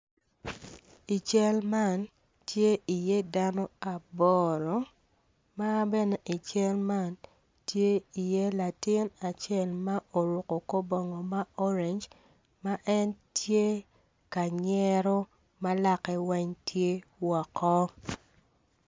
I cal man tye i ye dano aboro ma bene i cal man tye i ye latin acel ma oruko kor bongo ma orange ma en tye kanyero malake weng tye woko.